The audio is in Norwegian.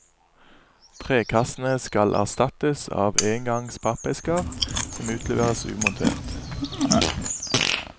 Trekassene skal erstattes av engangs pappesker, som utleveres umontert.